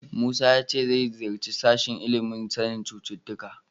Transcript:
Musa ya ce zai ziyarci sashen ilimin sanin cututtuka.